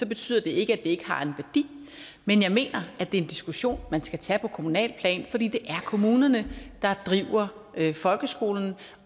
betyder det ikke at det ikke har en værdi men jeg mener at det er en diskussion man skal tage på kommunalt plan for det er kommunerne der driver folkeskolen